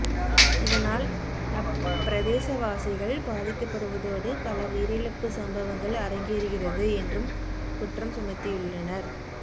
இதனால் அப் பிரதேசவாசிகள் பாதிக்கப்படுவதோடு பல உயிரிழப்பு சம்பவங்கள் அரங்கேறுகிறது என்றும் குற்றம் சுமத்தியுள்ளனர்